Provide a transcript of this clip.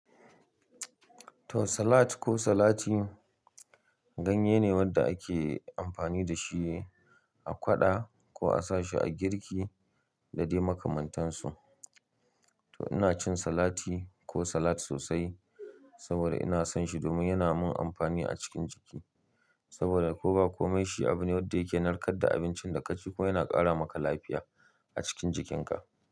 To salad ko salati ganye ne wanda ake amfani da shi a ƙwaɗa ko a sa shi a girki da dai makamantansu. To ina cin salati ko salad sosai saboda ina son shi domin yana min amfani a cikin jiki. Saboda ko ba komai shi abu ne wanda yake narkar da abincin da ka ci kuma yana ƙara maka lafiya a cikin jikinka.